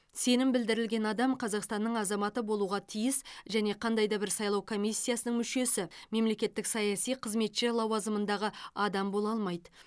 сенім білдірілген адам қазақстынның азаматы болуға тиіс және қандай да бір сайлау комиссиясының мүшесі мемлекеттік саяси қызметші лауазымындағы адам бола алмайды